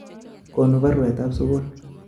Konu barwetap sukul